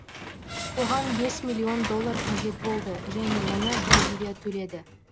оған бес миллион доллар қажет болды және оны бразилия төледі